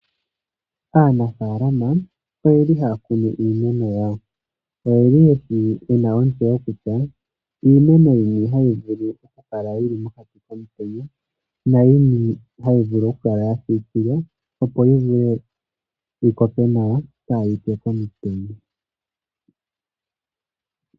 Aanafalama oyeli haya kunu iimeno yawo. Oyena ontseyo kutya iimeno yini hayi vulu oku kala yili mokati komutenya na yini hayi vulu oku kala ya siikilwa opo yi vule yi koke nawa ka yipye komutenya.